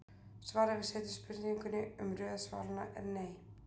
Svarið við seinni spurningunni um röð svaranna er nei.